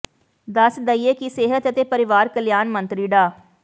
ਦੱਸ ਦੇਈਏ ਕਿ ਸਿਹਤ ਅਤੇ ਪਰਿਵਾਰ ਕਲਿਆਣ ਮੰਤਰੀ ਡਾ